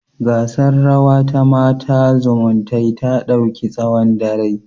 Gasar rawa ta Mata zumuntae ta dauki tsawon dare